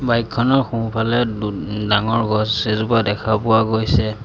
Bike খনৰ সোঁফালে দু ডাঙৰ গছ এজোপা দেখা পোৱা গৈছে।